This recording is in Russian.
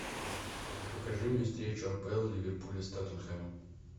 покажи мне встречу апл ливерпуля с тоттенхэмом